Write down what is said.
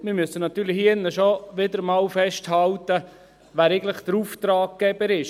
Wir müssen hier drin wieder einmal festhalten, wer eigentlich der Auftraggeber ist.